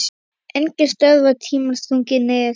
Enginn stöðvar tímans þunga nið